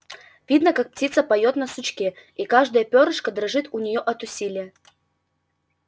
видно как птица поёт на сучке и каждое пёрышко дрожит у неё от усилия